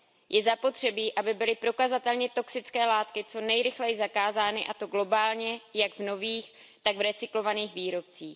Je zapotřebí, aby byly prokazatelně toxické látky co nejrychleji zakázány, a to globálně jak v nových, tak v recyklovaných výrobcích.